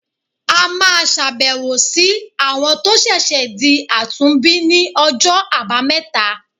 A máa ṣàbẹ̀wò sí àwọn tó ṣẹ̀ṣẹ̀ di àtúnbí ní ọjọ́ àbámẹ́ta.